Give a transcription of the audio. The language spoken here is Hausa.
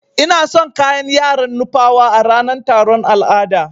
Ina son kayan yaran nupawa a ranan taron al'ada.